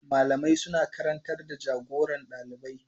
Malamai suna karantar da jagoran dalibai.